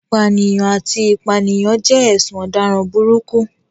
Ìpànìyàn àti ìpànìyàn jẹ́ ẹ̀sùn ọ̀daràn burúkú.